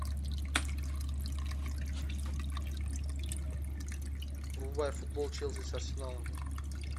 врубай футбол челси с арсеналом